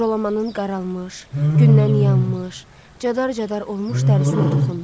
Jalamanın qaralmış, gündən yanmış, cadar-cadar olmuş dərisinə toxundu.